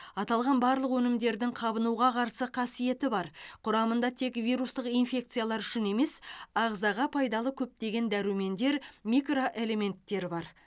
аталған барлық өнімдердің қабынуға қарсы қасиеті бар құрамында тек вирустық инфекциялар үшін емес ағзаға пайдалы көптеген дәрумендер микроэлементтер бар